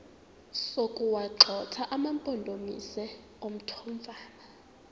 sokuwagxotha amampondomise omthonvama